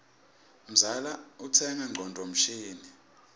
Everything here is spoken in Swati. mzala utsenga ngcondvo mshini